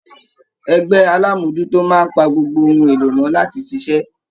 Ẹgbẹ alamojuto máa n pa gbogbo ohùn èlò mọ láti ṣiṣẹ.